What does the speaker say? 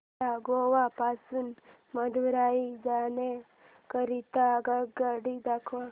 मला गोवा पासून मदुरई जाण्या करीता आगगाड्या दाखवा